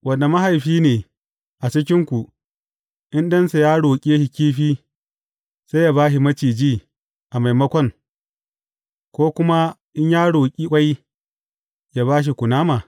Wane mahaifi ne a cikinku, in ɗansa ya roƙe shi kifi, zai ba shi maciji a maimakon, ko kuma in ya roƙi ƙwai, ya ba shi kunama?